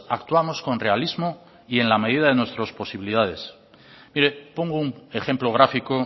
actuamos con realismo en la medida de nuestras posibilidades mire pongo un ejemplo gráfico